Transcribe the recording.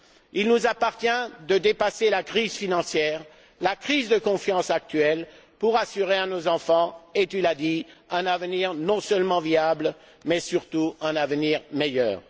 Il nous appartient de dépasser la crise financière, la crise de confiance actuelle, pour assurer à nos enfants et tu l'as dit un avenir non seulement viable mais surtout un avenir meilleur.